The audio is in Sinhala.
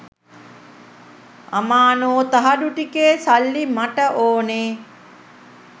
අමානෝ තහඩු ටිකේ සල්ලි මට ඕනේ